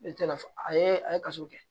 Ne tɛ lafiya a ye a ye kaso kɛ